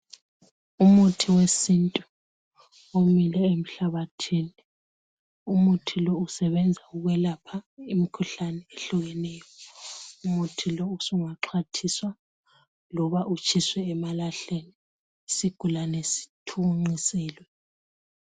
Umuthi wesintu omile emhlabathini. Umuthi lo usebenza ukwelapha imkhuhlane ehlukeneyo. Umuthi lo usungaxhwathiswa. Loba utshiswe emalahleni. Isigulane sithunqiselwe.